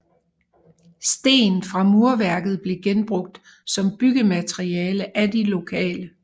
Sten fra murværket blev genbrugt som byggemateriale af de lokale